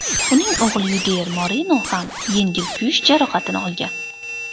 Uning o‘g‘li Yudier Moreno ham yengil kuyish jarohatini olgan.